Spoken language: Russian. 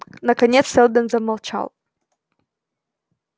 наконец сэлдон замолчал